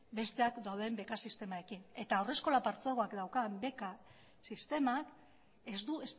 besteak dauden beka sistemarekin eta haurreskola partzuergoak daukan beka sistemak ez du